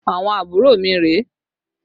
Àwọn àbúrò mi rèé